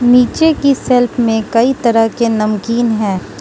नीचे की शेल्फ में कई तरह के नमकीन है।